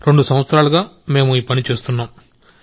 రెండు సంవత్సరాలుగా మేము ఈ పని చేస్తున్నాం